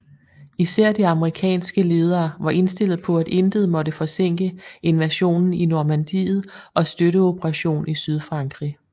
Især de amerikanske ledere var indstillet på at intet måtte forsinke invasionen i Normandiet og støtteoperationen i Sydfrankrig